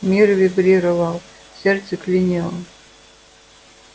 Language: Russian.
мир вибрировал сердце клинило